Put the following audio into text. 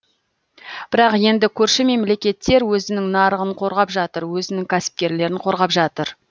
бірақ енді көрші мемлекеттер өзінің нарығын қорғап жатыр өзінің кәсіпкерлерін қорғап жатыр